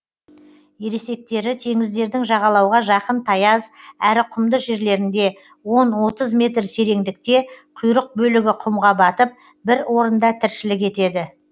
ересектері теңіздердің жағалауға жақын таяз әрі құмды жерлерінде он отыз метр тереңдікте құйрық бөлігі құмға батып бір орында тіршілік етеді